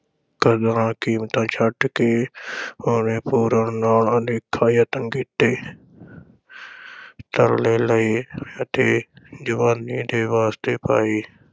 ਕਦਰਾਂ-ਕੀਮਤਾਂ ਛੱਡ ਕੇ ਉਹਨੇ ਪੂਰਨ ਨਾਲ ਅਨੇਕਾਂ ਯਤਨ ਕੀਤੇ ਤਰਲੇ ਲਏ ਅਤੇ ਜਵਾਨੀ ਦੇ ਵਾਸਤੇ ਪਾਏ।